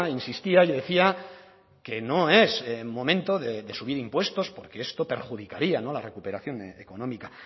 insistía y decía que no es momento de subir impuestos porque esto perjudicaría la recuperación económica